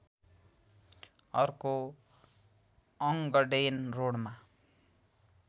अर्को अङ्गडेन रोडमा